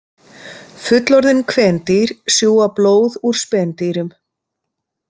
Fullorðin kvendýr sjúga blóð úr spendýrum.